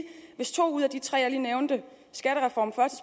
hvis to ud af de tre ting jeg lige nævnte